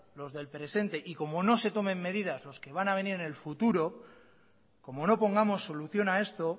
los del presente y como no se tomen medidas los que van a venir en el futuro como no pongamos solución a esto